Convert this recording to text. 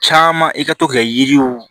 Caman i ka to ka kɛ yiriw